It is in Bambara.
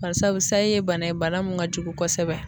Barisabu sayi ye bana ye bana min ka jugu kosɛbɛ.